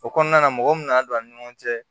O kɔnɔna na mɔgɔ min nana don an ni ɲɔgɔn cɛ